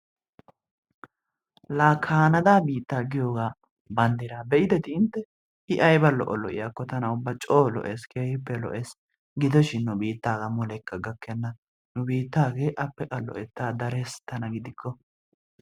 la Kaanaada biittaa banddra giyooga be'idetti intte, I aybba lo''o lo''iyaakko tana ubba coo lo''ees. keehippe lo''ees. gidoshin nu biittaaga mulekka gakkena, nu biittaage appe qa lo''etta darees tana gidikko.